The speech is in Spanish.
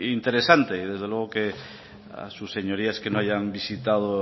interesante y desde luego que a sus señorías que no hayan visitado